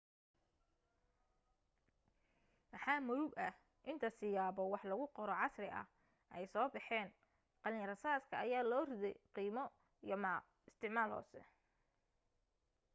maxaa murug ah inta siyaabo wax lagu qoro casri ah ay soo baxeen qalin rasaaska ayaa loo riday qiimo iyo isticmaal hoose